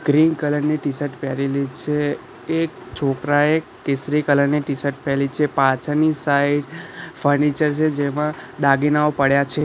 Green colour ની t shirt પહેરેલી છે એક છોકરાએ કેસરી કલર ની ટીશર્ટ પેરેલી છે પાછળની સાઈડ ફર્નિચર છે જેમાં દાગીનાઓ પડ્યા છે.